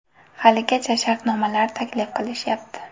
Haligacha shartnomalar taklif qilishyapti.